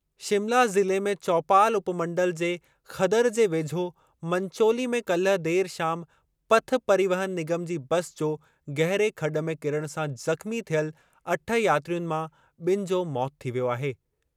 शिमला ज़िले में चौपाल उपमंडल जे ख़दर जे वेझो मंचोली में काल्हि देर शाम पथ परिवहन निगम जी बस जो गहिरे खॾ में किरणु सां ज़ख़्मी थियल अठ यात्रियुनि मां बि॒नि जो मौतु थी वियो आहे।